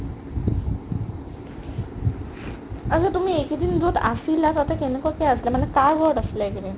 আতচা তুমি এইকেইদিন য'ত আছিলা তাতে কেনেকুৱা কে আছিলা মানে কাৰ ঘৰত আছিলা এইকেইদিন ?